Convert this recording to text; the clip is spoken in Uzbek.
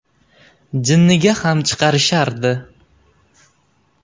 Jinniga ham chiqarishardi.